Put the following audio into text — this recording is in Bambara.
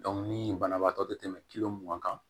ni banabaatɔ tɛ tɛmɛ mugan kan